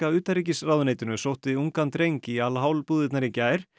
utanríkisráðuneytinu sótti ungan dreng í Al búðirnar í gær